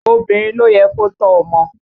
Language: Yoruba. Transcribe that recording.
Obìnrin ló yẹ kó tọ́ ọmọ